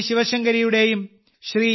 ശിവശങ്കരിയുടെയും Shri